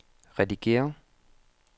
redigér